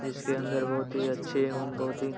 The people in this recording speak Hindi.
जिसके अंदर बहोत ही अच्छे एवं बहुत ही --